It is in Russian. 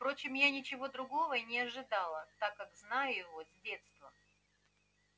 впрочем я ничего другого и не ожидала так как знаю его с детства